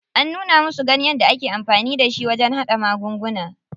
An nuna musu ganyen da ake amfani da shi wajen haɗa magunguna.